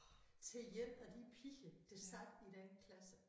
Til én af de piger der sad i den klasse